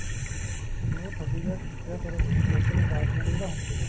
ਉਹ ਤੁਹਾਡੀ ਗੱਲ ਠੀਕ ਏ ਪਰ ਲੋਕਾ ਨੂੰ harassment ਵੀ ਤਾਂ ਹੁੰਦੀ ਏ